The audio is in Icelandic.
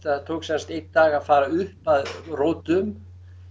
það tók sem sagt einn dag að fara upp að rótum